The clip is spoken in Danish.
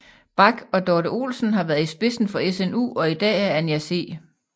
Bak og Dorte Olesen været i spidsen for SNU og i dag er Anja C